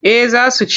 Eh za su ci.